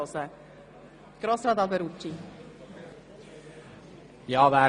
Als erstes hat Grossrat Alberucci das Wort.